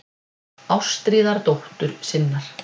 Ástríðar dóttur sinnar.